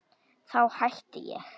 Þá hætti ég.